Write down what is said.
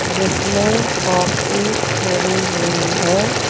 जिसमें कॉफ़ी भरी हुई है।